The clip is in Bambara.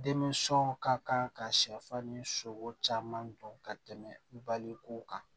Denmisɛnw ka kan ka sɛfan ni sogo caman dɔn ka tɛmɛ baliko kan